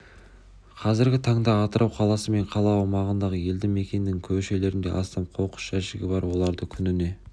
қазіргі таңда атырау қаласы мен қала аумағындағы елді мекеннің көшелерінде астам қоқыс жәшігі бар оларды күніне